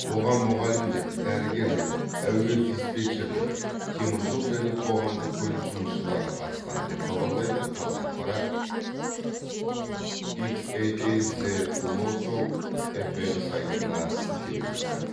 оған мұғалімдер дәрігерлер әуе диспетчерлері теміржол және қоғамдық көлік жұмысшылары қатысқан деп хабарлайды қазақпарат икс эй эй зе локал фр сайтына сілтеме жасап